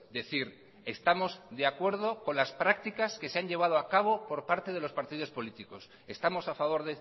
decir estamos de acuerdo con las prácticas que se han llevado a cabo por parte de los partidos políticos estamos a favor